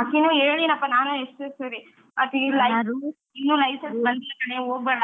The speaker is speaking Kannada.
ಆಕಿನ್ನೂ ಹೇಳಿದ್ನಪ್ಪಾ ನಾನ್ ಎಷ್ಟೋ ಸರಿ ಆಕಿಗೂ . ಇನ್ನೂ license ಬರ್ಲಿಲ್ಲ ಕಣೆ ಹೋಗ್ಬೇಡ